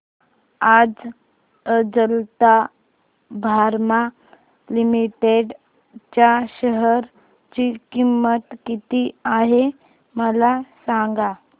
आज Ajanta pharma limited च्या share ची किंमत किती आहे मला सांगा